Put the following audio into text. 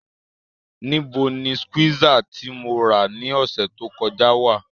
Nibo ni skweesa ti mo ra ni ọsẹ to kọja wa?